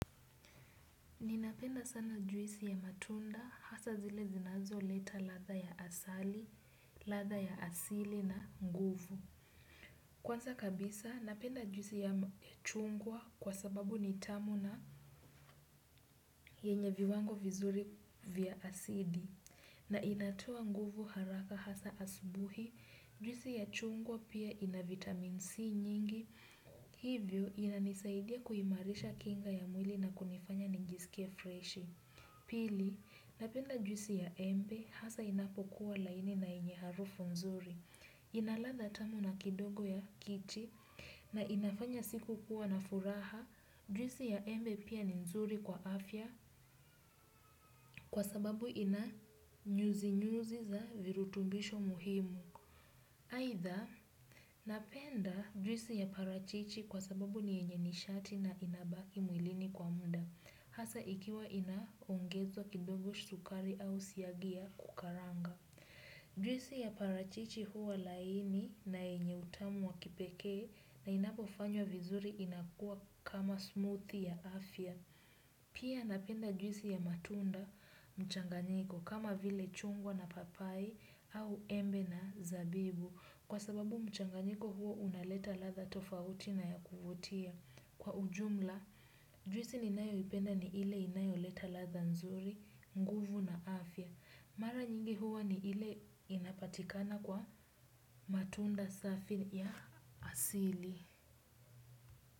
Ninapenda sana juisi ya matunda, hasaa zile zinazo leta ladha ya asali, ladha ya asili na nguvu. Kwanza kabisa, napenda juisi ya chungwa kwa sababu nitamu na yenye viwango vizuri vya acidi. Na inatoa nguvu haraka hasaa asubuhi, juisi ya chungwa pia ina vitamin C nyingi, hivyo inanisaidia kuimarisha kinga ya mwili na kunifanya nijisikie freshi. Pili, napenda juisi ya embe hasa inapokuwa laini na yenye harufu nzuri. Inaladha tamu na kidogo ya kichi na inafanya siku kuwa na furaha, juisi ya embe pia ni nzuri kwa afya kwa sababu ina nyuzi nyuzi za virutumbisho muhimu. Aidha, napenda juisi ya parachichi kwa sababu ni yenye nishati na inabaki mwilini kwa muda, hasaa ikiwa ina ongezwa kidogo sukari au siagia kukaranga. Juisi ya parachichi huwa laini na yenye utamu wa kipekee na inapo fanywa vizuri inakua kama smoothie ya afya. Pia napenda juisi ya matunda mchanganyiko kama vile chungwa na papai au embe na zabibu kwa sababu mchanganyiko huo unaleta ladha tofauti na yakuvutia. Kwa ujumla, juisi ninayo ipenda ni ile inayo leta ladha nzuri, nguvu na afya. Mara nyingi huwa ni ile inapatikana kwa matunda safi ya asili.